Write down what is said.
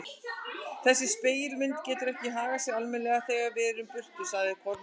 Þessar spegilmyndir geta ekki hagað sér almennilega þegar við erum í burtu, sagði Kormákur.